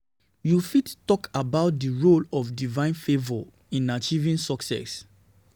You fit talk about di role of divine favor divine favor in achieving success.